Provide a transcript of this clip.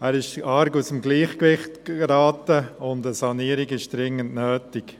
Dieser geriet arg aus dem Gleichgewicht, und eine Sanierung ist dringend notwendig.